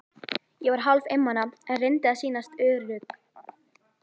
Ég var hálf einmana, en reyndi að sýnast ör- ugg.